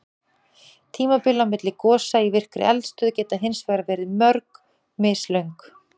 Tímabil á milli gosa í virkri eldstöð geta hins vegar verið mjög mislöng.